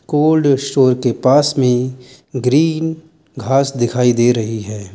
Cold store के पास में ग्रीन घास दिखाई दे रही है।